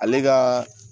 Ale ka